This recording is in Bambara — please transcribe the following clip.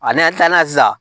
A n'an tilala sisan